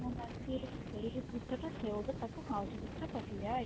ହେଲା ସିଏ ସେଇ ଭୁତ ଟା ସୋଉଠୁ ମାଉସୀ ଭିତରେ ପଶି ଯାଇଛି